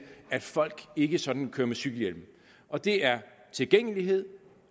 at folk ikke sådan kører med cykelhjelm og det er tilgængelighed